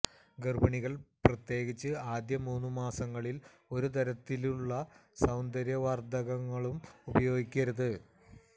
ഗർഭിണികൾ പ്രത്യേകിച്ച് ആദ്യ മൂന്നു മാസങ്ങളിൽ ഒരു തരത്തിലുള്ള സൌന്ദര്യ വർധകങ്ങളും ഉപയോഗിക്കരുത്